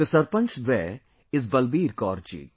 The sarpanch there is Balbir Kaur Ji